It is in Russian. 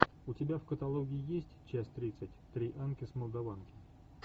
у тебя в каталоге есть часть тридцать три анки с молдаванки